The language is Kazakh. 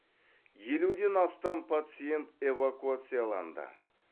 елуден астам пациент эвакуацияланды